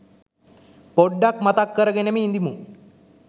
පොඩ්ඩක් මතක් කරගෙනම ඉදිමු.